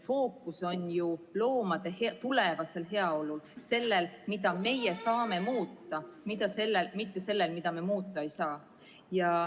Fookus on ju loomade tulevasel heaolul, sellel, mida meie saame muuta, mitte sellel, mida me muuta ei saa.